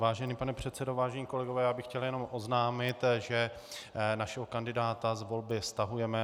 Vážený pane předsedo, vážení kolegové, já bych chtěl jenom oznámit, že našeho kandidáta z volby stahujeme.